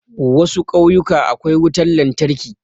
Wasu kauyuka akwai wutan lantarki